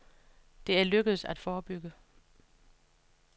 Det er lykkedes at forebygge.